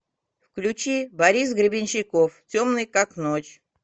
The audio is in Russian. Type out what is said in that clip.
включи борис гребенщиков темный как ночь